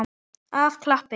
Af kappi.